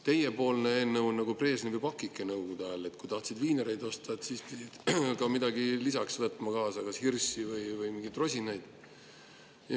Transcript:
Teiepoolne eelnõu on nagu Brežnevi pakike Nõukogude ajal: kui tahtsid viinereid osta, siis pidid ka midagi lisaks ostma, näiteks hirssi või mingeid rosinaid.